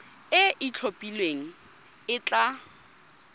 e e itlhophileng e tla